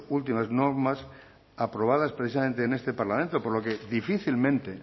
últimas normas aprobadas precisamente en este parlamento por lo que difícilmente